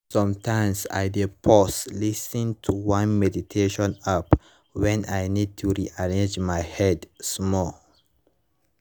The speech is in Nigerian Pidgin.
sometimes i dey pause lis ten to one meditation app when i need to rearrange my head small